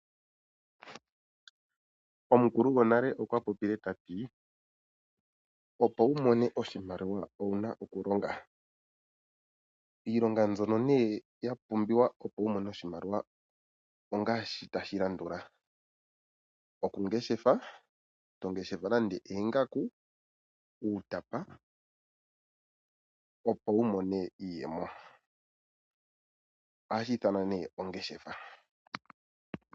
Omukulu gonale okwa popile ta ti:"Opo wu mone oshimaliwa owu na okulonga." Iilonga mbyoka ya pumbiwa opo wu mone oshimaliwa ongaashi tashi landula: okungeshefa, to ngeshefa nando oongaku nenge uutapa, opo wu mone iiyemo.